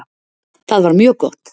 Það var mjög gott.